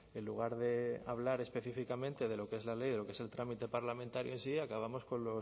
en lugar de hablar específicamente de lo que es la ley de lo que es el trámite parlamentario en sí acabamos con